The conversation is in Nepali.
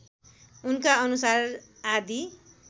उनका अनुसार आदि